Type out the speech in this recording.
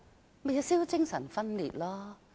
這豈不是精神分裂？